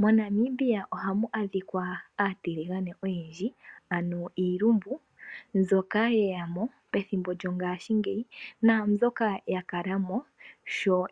MoNamibia ohamu adhika aatilingane oyendji ano iilumbu ndjoka yeyamo pethimbo lyogaashi ngeyi naambi yakalamo